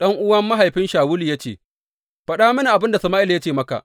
Ɗan’uwan mahaifin Shawulu ya ce, Faɗa mini abin da Sama’ila ya ce maka.